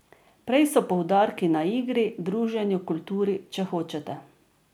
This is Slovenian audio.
Prej so poudarki na igri, druženju, kulturi, če hočete.